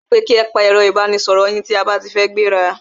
Wọ́n so pe ki e pa ẹ̀ro ìbánisoro yín tí a ba ti fẹ́ gbẹ́ra!